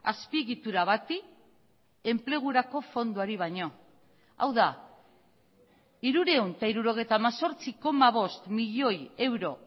azpiegitura bati enplegurako fondoari baino hau da hirurehun eta hirurogeita hemezortzi koma bost milioi euro